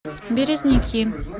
березники